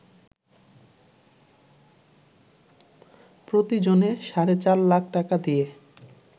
প্রতিজনে সাড়ে ৪ লাখ টাকা দিয়ে